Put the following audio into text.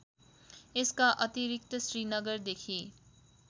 यसका अतिरिक्त श्रीनगरदेखि